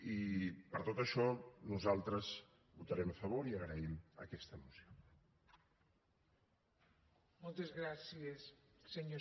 i per tot això nosaltres hi votarem a favor i agraïm aquesta moció